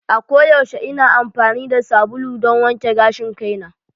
A koyaushe ina amfani da sabulu don wanke gashin kaina.